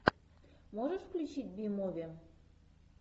можешь включить би муви